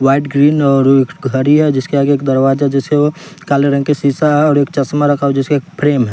White green और एक घड़ी है जिसके आगे एक दरवाजा जिसे वो काले रंग के सीसा है और एक चश्मा रखा हुआ जिसका एक फ्रेम है।